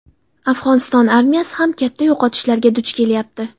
Afg‘oniston armiyasi ham katta yo‘qotishlarga duch kelyapti.